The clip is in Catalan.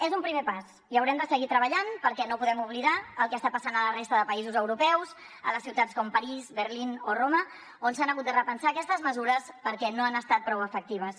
és un primer pas i haurem de seguir treballant perquè no podem oblidar el que està passant a la resta de països europeus a les ciutats com parís berlín o roma on s’han hagut de repensar aquestes mesures perquè no han estat prou efectives